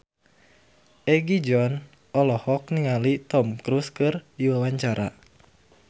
Egi John olohok ningali Tom Cruise keur diwawancara